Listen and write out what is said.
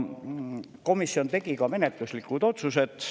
Komisjon tegi ka menetluslikud otsused.